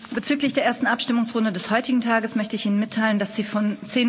Bezüglich der ersten Abstimmungsrunde des heutigen Tages möchte ich Ihnen mitteilen, dass sie von